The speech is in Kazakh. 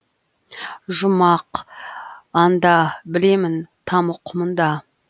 жұмақ анда білемін тамұқ мұнда